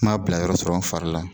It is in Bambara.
N ma bila yɔrɔ sɔrɔ n fari la